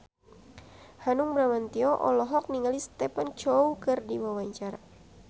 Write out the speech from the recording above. Hanung Bramantyo olohok ningali Stephen Chow keur diwawancara